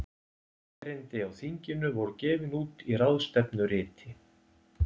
Erindi á þinginu voru gefin út í ráðstefnuriti.